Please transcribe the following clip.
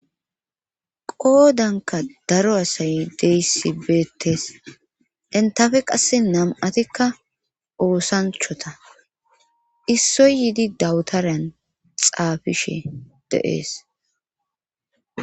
Qoodanka daro asay deyssi beettes entafe qasse nam7atikka oosanchota issoy yiidi dawutaryan xaafishe deees